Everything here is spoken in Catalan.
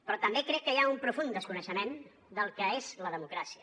però també crec que hi ha un profund desconeixement del que és la democràcia